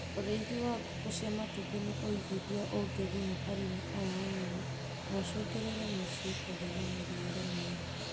Ūrĩithi wa ngũkũ cia matumbĩ nĩ ũigithia ũngiguna arĩmi aya anini na ũcũngĩrĩrie mĩciĩ kũgĩa na mĩrĩĩre mĩega.